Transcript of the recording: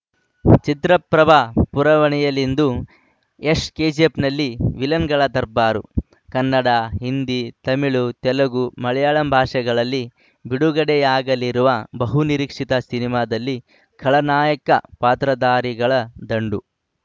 ಚಿತ್ರಪ್ರಭ ಪುರವಣಿಯಲ್ಲಿಂದು ಯಶ್‌ ಕೆಜಿಎಫ್‌ನಲ್ಲಿ ವಿಲನ್‌ಗಳ ದರ್ಬಾರು ಕನ್ನಡ ಹಿಂದಿ ತಮಿಳು ತೆಲುಗು ಮಲಯಾಳಂ ಭಾಷೆಗಳಲ್ಲಿ ಬಿಡುಗಡೆಯಾಗಲಿರುವ ಬಹುನಿರೀಕ್ಷಿತ ಸಿನಿಮಾದಲ್ಲಿ ಖಳನಾಯಕ ಪಾತ್ರಧಾರಿಗಳ ದಂಡು